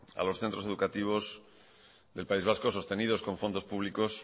a los centros educativos del país vasco sostenidos con fondos públicos